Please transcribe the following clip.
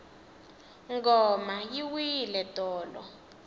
ngoma yi wile tolo